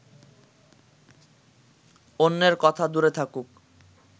অন্যের কথা দূরে থাকুক